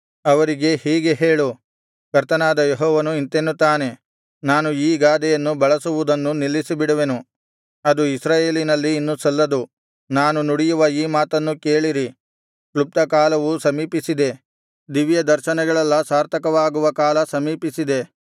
ಅವರಿಗೆ ಹೀಗೆ ಹೇಳು ಕರ್ತನಾದ ಯೆಹೋವನು ಇಂತೆನ್ನುತ್ತಾನೆ ನಾನು ಈ ಗಾದೆಯನ್ನು ಬಳಸುವುದನ್ನು ನಿಲ್ಲಿಸಿಬಿಡುವೆನು ಅದು ಇಸ್ರಾಯೇಲಿನಲ್ಲಿ ಇನ್ನು ಸಲ್ಲದು ನಾನು ನುಡಿಯುವ ಈ ಮಾತನ್ನು ಕೇಳಿರಿ ಕ್ಲುಪ್ತಕಾಲವು ಸಮೀಪಿಸಿದೆ ದಿವ್ಯದರ್ಶನಗಳೆಲ್ಲಾ ಸಾರ್ಥಕವಾಗುವ ಕಾಲ ಸಮೀಪಿಸಿದೆ